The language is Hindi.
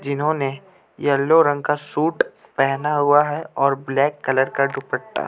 जिन्होंने येल्लो रंग का सूट पहेना हुआ है और ब्लैक कलर का दुपट्टा --